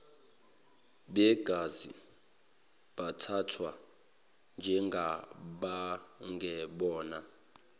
begazi bathathwa njengabangebona